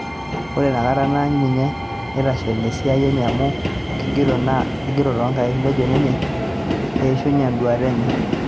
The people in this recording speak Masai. Ore ina kata naany ina siteshen esiia enye amu keigero too nkaik, nejo ninye eishunye enduata enye